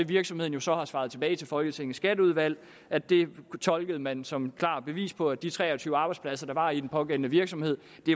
virksomheden så tilbage til folketingets skatteudvalg at det tolkede man som et klart bevis på at de tre og tyve arbejdspladser der var i den pågældende virksomhed